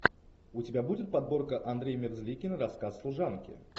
у тебя будет подборка андрей мерзликин рассказ служанки